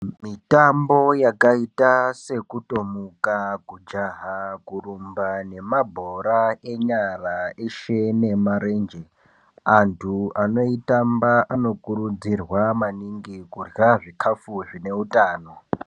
Mitambo yakaita sekutomuka kujaha kurumba nemabhora enyara eshe nemarenje antu anoitamba anokurudzirwa maningi kuhya zvikafu zvine utano.